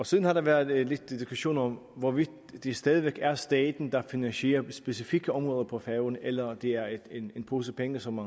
siden har der været lidt diskussion om hvorvidt det stadig væk er staten der finansierer specifikke områder på færøerne eller om det er en pose penge som